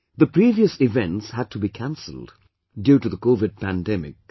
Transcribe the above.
The previous events had to be canceled due to the Covid pandemic